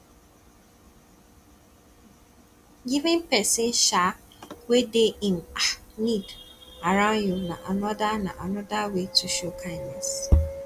giving pesin um wey de in um need around you na another na another way to show kindness